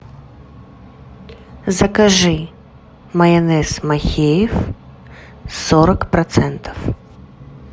закажи майонез махеев сорок процентов